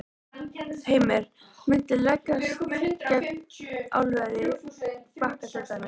Heimir: Muntu leggjast gegn álveri á Bakka til dæmis?